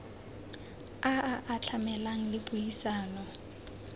a a atlhameng le puisano